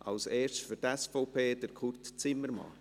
Als Erstes für die SVP, Kurt Zimmermann.